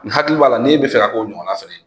N hakili b'a la n'e bɛ fɛ ka k'o ɲɔgɔnna fɛnɛ ye.